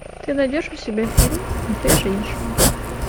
ты найдешь у себя фильм две женщины